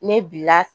Ne bila